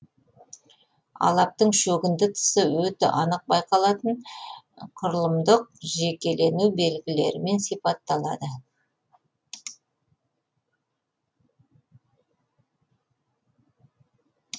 алаптың шөгінді тысы өте анық байқалатын құрылымдық жекелену белгілерімен сипатталады